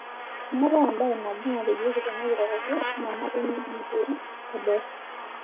Meeta embae nabo natejoki tenakiroroto nanare nelikiorio teboo.